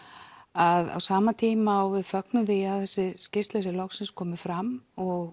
að á sama tíma og við fögnum því að þessi skýrsla sé loksins komin fram og